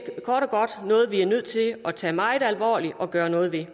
kort og godt noget vi er nødt til at tage meget alvorligt og gøre noget ved